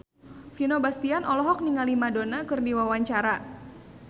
Vino Bastian olohok ningali Madonna keur diwawancara